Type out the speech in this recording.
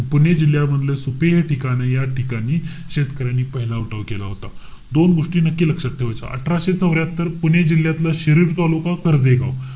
पुणे जिल्ह्यामधले सुपे हे ठिकाण, या ठिकाणी शेतकऱ्यांनी पहिला उठाव केला होता. दोन गोष्टी नक्की लक्षात ठेवायचं. अठराशे चौऱ्र्यातर पुणे जिल्ह्यातलं शिरुड तालुका, कर्व्हे गाव.